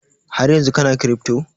Haryanzun kana kiripto?